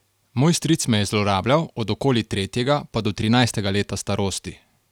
Moj stric me je zlorabljal od okoli tretjega pa do trinajstega leta starosti.